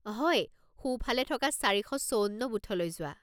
হয়, সোঁফালে থকা চাৰি শ চৌৱন্ন বুথলৈ যোৱা।